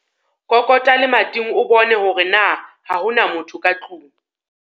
Kokota lemating o bone hore na ha ho na motho ka tlong.